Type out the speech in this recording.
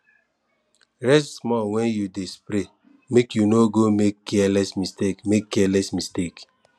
rest small when you dey spray make you no go make careless mistake make careless mistake